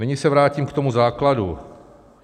Nyní se vrátím k tomu základu.